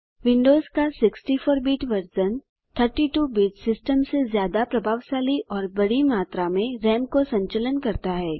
Windows का 64 bit version 32 bit system से ज्यादा प्रभावशाली और बड़ी मात्रा में राम को संचलन करता है